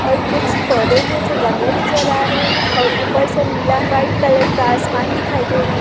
और कुछ फौदे हैं जो गमले नजर आ रहे हैं और ऊपर से नीला व्हाइट कलर का आसमान दिखाई दे रहा है।